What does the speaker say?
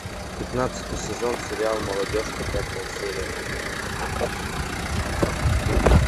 пятнадцатый сезон сериал молодежка пятая серия